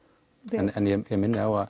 en ég minni á að